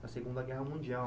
da Segunda Guerra Mundial.